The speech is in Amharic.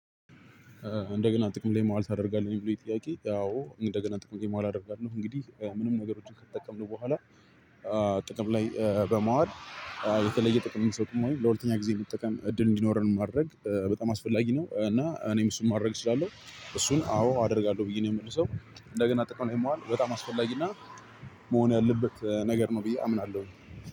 እንደገና ጥቅም ላይ መዋል ታደርጋለህ ብሎ የጥያቄ ያው እንደገና ጥቅም ላይ መዋል አደርጋለሁ ነው እንግዲህ ምንም ነገሮችን ከተጠቀምን በኋላ። ጥቅም ላይ በመዋል የተለየ ጥቅም የሚሰጡም ወይም ለሁለተኛ ጊዜ የሚጠቀም እድል እንዲኖረን ማድረግ በጣም አስፈላጊ ነው። እና እኔም እሱን ማድረግ እችላለሁ እሱን አዎ አደርጋለሁ ብዬ ነው የምመልሰው። እንደገና ጠቅሞ ላይ መዋል በጣም አስፈላጊና መሆን ያለበት ነገር ነው ብዬ አምናለሁኝ።